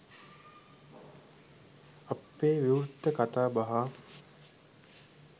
අපේ විවෘත කතාබහ